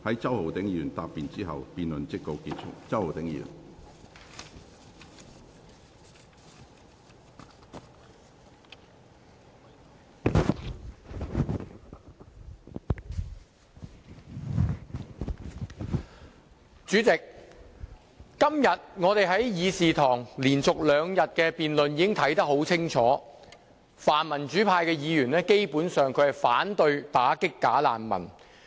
主席，在議事堂連續兩天的辯論中，我們可以清楚看到，泛民主派議員基本上是反對打擊"假難民"。